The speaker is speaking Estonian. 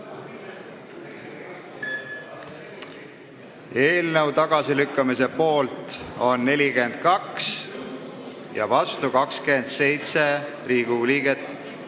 Hääletustulemused Eelnõu tagasilükkamise poolt on 42 ja vastu 27 Riigikogu liiget.